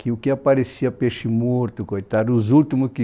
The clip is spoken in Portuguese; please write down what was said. Que o que aparecia peixe morto, coitado, os últimos que...